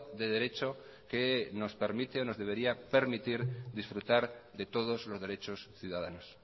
de derecho que nos permite o nos debería permitir disfrutar de todos los derechos ciudadanos